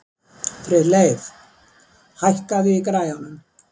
Friðleif, hækkaðu í græjunum.